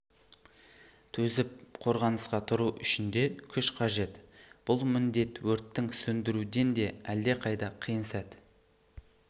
төзіп қорғанысқа тұру үшін де күш қажет бұл міндет өрттің сөндіруден де әлдеқайда қиын сәт